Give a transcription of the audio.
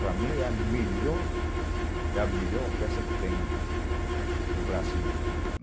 Para mim, é a melhor orquestra que tem no Brasil.